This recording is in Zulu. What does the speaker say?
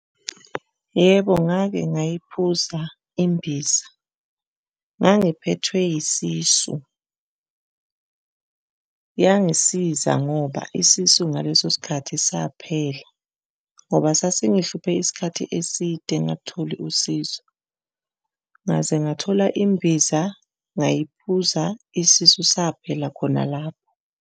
Yebo, ngake ngayiphuza imbiza. Ngangiphethwe yisisu, yangisiza ngoba isisu ngaleso sikhathi saphela ngoba sasingihluphe isikhathi eside ngingalutholi usizo, ngaze ngathola imbiza ngayiphuza isisu saphela khona lapho.